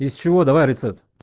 из чего давай рецепт